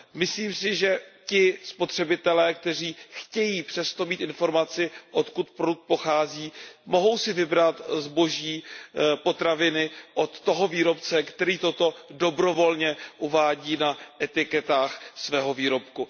Myslím si, že ti spotřebitelé, kteří chtějí přesto mít informaci, odkud produkt pochází, mohou si vybrat zboží, potraviny od toho výrobce, který toto dobrovolně uvádí na etiketách svého výrobku.